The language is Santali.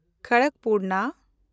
ᱠᱷᱚᱲᱚᱠᱠᱯᱩᱨᱱᱟ